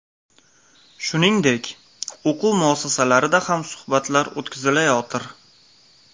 Shuningdek, o‘quv muassasalarida ham suhbatlar o‘tkazilayotir.